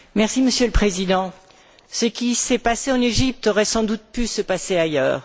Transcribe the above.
Monsieur le Président, ce qui s'est passé en Égypte aurait sans doute pu se passer ailleurs.